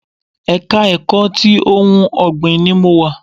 Ẹ̀ka ẹ̀kọ́ ti ohun ọ̀gbìn ni mo wà